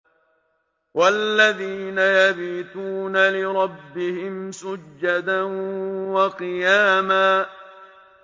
وَالَّذِينَ يَبِيتُونَ لِرَبِّهِمْ سُجَّدًا وَقِيَامًا